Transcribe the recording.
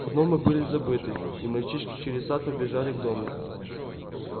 гномы были забыты и мальчишки через сад побежали к дому